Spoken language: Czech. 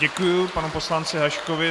Děkuji panu poslanci Haškovi.